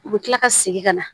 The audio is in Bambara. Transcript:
U bɛ kila ka segin ka na